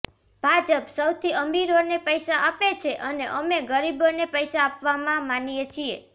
ભાજપ સૌથી અમીરોને પૈસા આપે છે અને અમે ગરીબોને પૈસા આપવામાં માનીએ છીએ